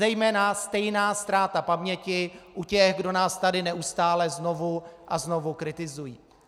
Zejména stejná ztráta paměti u těch, kdo nás tady neustále znovu a znovu kritizují.